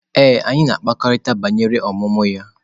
Ee, anyị na-ekwurịta banyere ọmụmụ ya.